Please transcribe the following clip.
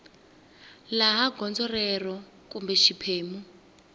laha gondzo rero kumbe xiphemu